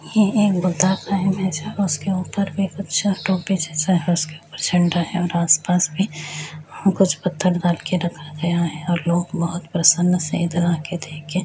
यह एक बुद्ध का इमेज है उसके ऊपर में कुछ टोपी जैसा है उसके ऊपर झंडा है और आसपास भी कुछ पत्थर रखा गया है और लोग बहुत प्रसन्न देकर --